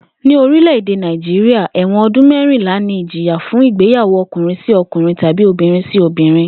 Ní orílè̩-èdè Nàìjíríà, è̩wò̩n o̩dún mé̩rìnlá ni ìjìyà fún ìgbéyàwó o̩kùnrin-sí-o̩kùnrin tàbí obìnrin-sí-obìnrin